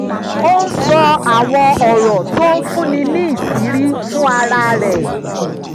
ó ń sọ àwọn ọ̀rọ̀ tó ń fúnni níṣìírí fún ara rẹ̀